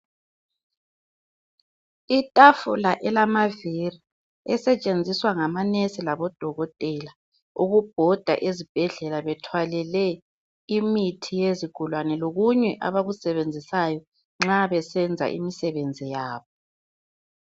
Itafula elamaviri esetshenziswa ngama nurse labo Dokotela ukubhoda ezibhedlela bethwalele imithi yezigulane lokunye abakusebenzisayo nxa besenza imisebenzi yabo.